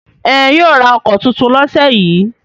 Ẹn, yóò ra ọkọ̀ tuntun lọ́sẹ̀ yìí.